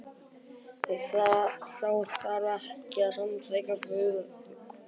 Þá þarf ekki að þykkja vökvann með sósujafnara.